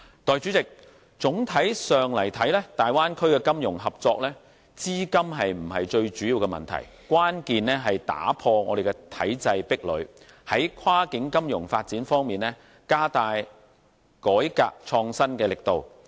代理主席，總體上來看，大灣區的金融合作，資金並非最主要的問題，關鍵在打破體制壁壘，在跨境金融發展方面加大改革創新力度。